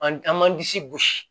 An an an man disi gosi